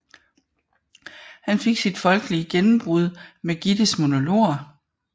Han fik sit folkelige gennembrud med Gittes monologer